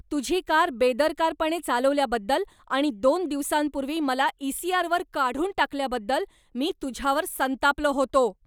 तुझी कार बेदरकारपणे चालवल्याबद्दल आणि दोन दिवसांपूर्वी मला ईसीआरवर काढून टाकल्याबद्दल मी तुझ्यावर संतापलो होतो.